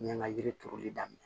N ye ŋa yiri turuli daminɛ